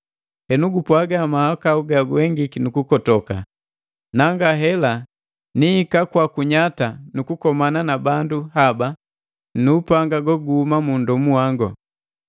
Henu gupwaga mahakau ga uengiki nu gukotoka. Na ngahela nihika kwaku nnyata nu kukomana na bandu haba nu upanga go guhuma mu nndomu wango.”